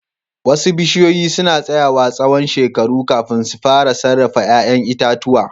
Wasu bishiyoyi suna tsayawa tsawon shekaru kafin su fara sarrafa 'ya'yan itatuwa.